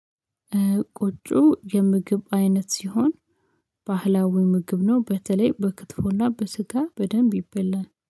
ቆጮ የምግብ አይነት ሲሆን ባህላዊ ምግብ ነው። በተለይ በክትፎና በስጋ በደንብ ይበላል